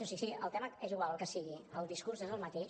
o sigui el tema és igual el que sigui el discurs és el mateix